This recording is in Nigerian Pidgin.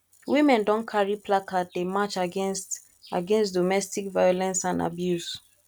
women don carry placard dey march against against domestic violence and abuse